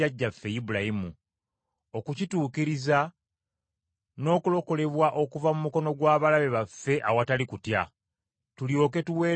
okukituukiriza, n’okulokolebwa okuva mu mukono gw’abalabe baffe awatali kutya, tulyoke tuweereze mu maaso ge,